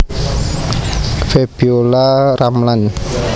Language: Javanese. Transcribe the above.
Febiolla Ramlan